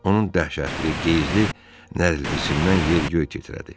Onun dəhşətli, qeyzli nəriltisindən yer-göy titrədi.